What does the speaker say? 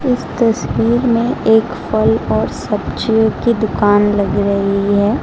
इस तस्वीर में एक फल और सब्जियों की दुकान लग रही है।